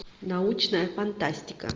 научная фантастика